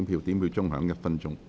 表決鐘會響1分鐘。